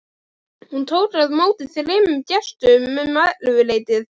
Hún tók á móti þremur gestum um ellefuleytið.